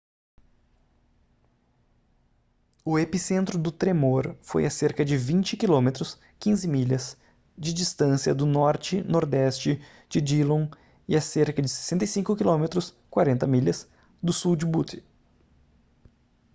o epicentro do tremor foi a cerca de 20 km 15 milhas de distância do norte/nordeste de dillon e a cerca de 65 km 40 milhas do sul de butte